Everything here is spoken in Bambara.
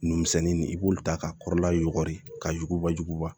Nunmisɛnnin i b'olu ta ka kɔrɔla yugɔri ka jugubajuguba